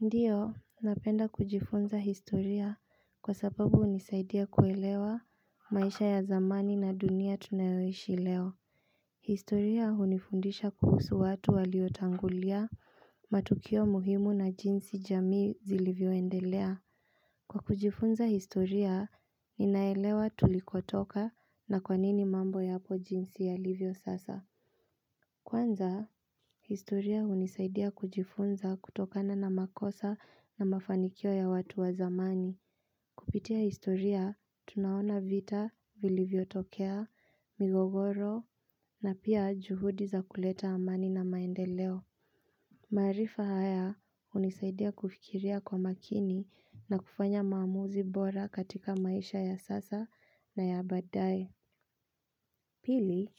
Ndiyo, napenda kujifunza historia. Kwa sababu hunisaidia kuelewa maisha ya zamani na dunia tunayoishi leo. Historia hunifundisha kuhusu watu waliotagulia, matukio muhimu na jinsi jamii zilivyoendelea. Kwa kujifunza historia, ninaelewa tulikotoka na kwanini mambo yapo jinsi yalivyo sasa. Kwanza, historia hunisaidia kujifunza kutokana na makosa na mafanikio ya watu wa zamani. Kupitia historia, tunaona vita, vilivyotokea, migogoro na pia juhudi za kuleta amani na maendeleo. Maarifa haya, hunisaidia kufikiria kwa makini na kufanya maamuzi bora katika maisha ya sasa na ya baadae. Pili,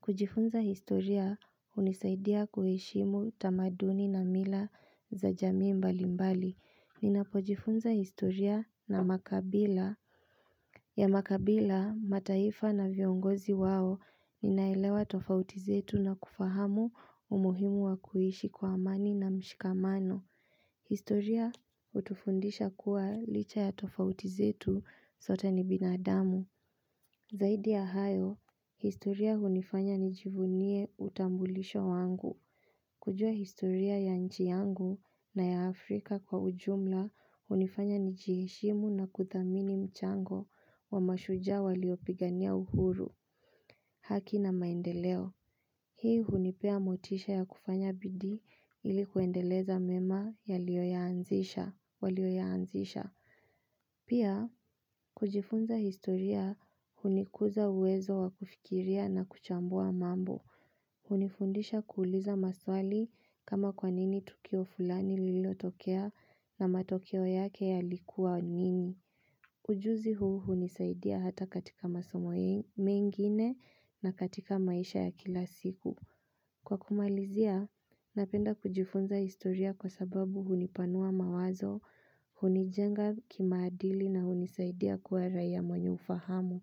kujifunza historia hunisaidia kuheshimu tamaduni na mila za jamii mbalimbali. Ninapojifunza historia na makabila. Ya makabila, mataifa na viongozi wao, ninaelewa tofauti zetu na kufahamu umuhimu wa kuishi kwa amani na mshikamano. Historia, hutufundisha kuwa, licha ya tofauti zetu sote ni binadamu. Zaidi ya hayo, historia hunifanya nijivunie utambulisho wangu. Kujua historia ya nji yangu, na ya Afrika kwa ujumla. Hunifanya nijiheshimu na kuthamini mchango wa mashujaa waliopigania uhuru. Haki na maendeleo. Hii hunipea motisha ya kufanya bidii ili kuendeleza mema yaliyo yaanzisha, waliyo yaanzisha. Pia, kujifunza historia hunikuza uwezo wa kufikiria na kuchambua mambo. Hunifundisha kuuliza maswali. Kama kwanini tukio fulani lililotokea? Na matokeo yake yalikuwa nini?. Ujuzi huu hunisaidia hata katika masomo eeh, mengine na katika maisha ya kila siku. Kwa kumalizia, napenda kujifunza historia kwa sababu hunipanua mawazo, hunijenga kimaadili na hunisaidi ya kuwa raia mwenye ufahamu.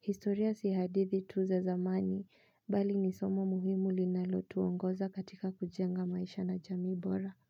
Historia si hadithi tu zamani, bali ni somo muhimu linalo tuongoza katika kujenga maisha na jamii bora.